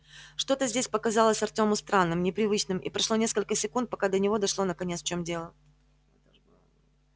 что-то здесь показалось артёму странным непривычным и прошло несколько секунд пока до него дошло наконец в чем дело